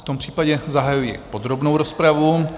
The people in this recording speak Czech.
V tom případě zahajuji podrobnou rozpravu.